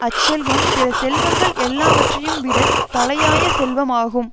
அச்செல்வம் பிற செல்வங்கள் எல்லாவற்றையும் விட தலையாய செல்வமாகும்